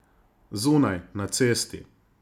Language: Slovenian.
Zunaj, na cesti.